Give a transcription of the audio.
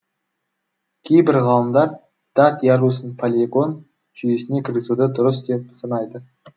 кейбір ғалымдар дат ярусын палеоген жүйесіне кіргізуді дұрыс деп санайды